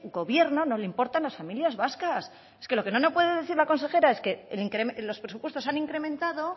gobierno no le importan las familias vascas es que lo que no me puede decir la consejera es que los presupuestos han incrementado